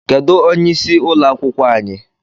Kedụ onye ịsị ụlọ akwụkwọ anyị?